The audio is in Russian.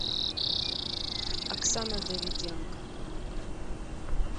оксана давиденко